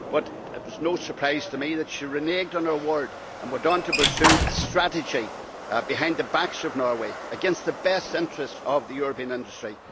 But it was no surprise to me that she reneged on her word and went on to pursue a strategy behind the back of Norway, against the best interests of the European industry.